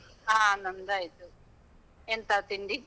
ಹಾ ನಮ್ದಾಯ್ತು, ಎಂತ ತಿಂಡಿ?